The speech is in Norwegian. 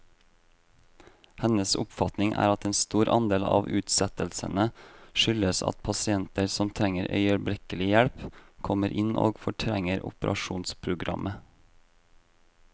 Hennes oppfatning er at en stor andel av utsettelsene skyldes at pasienter som trenger øyeblikkelig hjelp, kommer inn og fortrenger operasjonsprogrammet.